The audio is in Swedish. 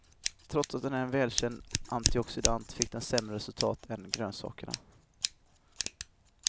Trots att den är en välkänd antioxidant fick den sämre resultat än grönsakerna.